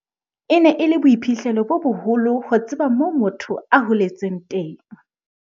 "E ne e le boiphihlelo bo boholo ho tseba moo motho a holetseng teng."